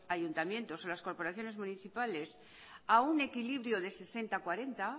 ayuntamientos o las corporaciones municipales a un equilibrio de sesenta cuarenta